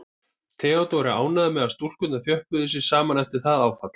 Theodór er ánægður með að stúlkurnar þjöppuðu sig saman eftir það áfall.